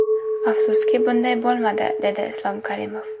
Afsuski, bunday bo‘lmadi”, dedi Islom Karimov.